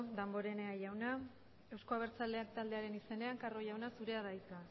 damborenea jaunak eusko abertzalea taldearen izenean carro jauna zurea da hitza